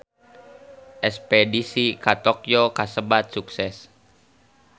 Espedisi ka Tokyo kasebat sukses